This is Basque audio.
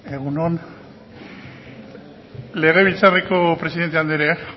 egun on legebiltzarreko presidente andrea